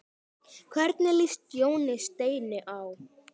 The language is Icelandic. Hvernig líst Jóni Steini á?